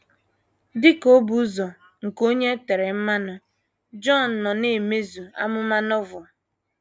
Dị ka obu ụzọ nke Onye E Tere Mmanụ, Jọn nọ na - emezu amụma Novel.